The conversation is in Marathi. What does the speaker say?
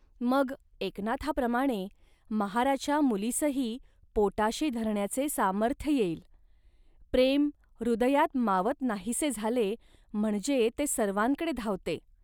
मग एकनाथाप्रमाणे महाराच्या मुलीसही पोटाशी धरण्याचे सामर्थ्य येईल. प्रेम हृदयात मावत नाहीसे झाले, म्हणजे ते सर्वांकडे धावते